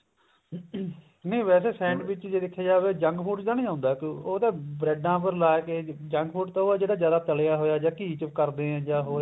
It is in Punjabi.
ਨਹੀਂ ਵੇਸੇ ਜੇ sandwich ਦੇਖਿਆ ਜਾਵੇ ਜੰਕ food ਚ ਤਾਂ ਨੀ ਆਉਂਦਾ ਉਹ ਤਾਂ bread ਪਰ ਲਗਾਕੇ ਜੰਕ food ਤਾਂ ਉਹ ਹੈ ਜਿਹੜਾ ਜਿਆਦਾ ਤਲਿਆ ਹੋਇਆ ਜਾਂ ਘੀ ਚ ਕਰਦੇ ਆਂ